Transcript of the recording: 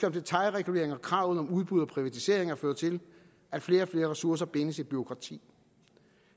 om detailregulering og kravet om udbud og privatiseringer fører til at flere og flere ressourcer bindes i bureaukrati